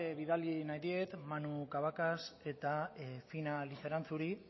bidali nahi diet manu cavacas eta fina lizeranzuri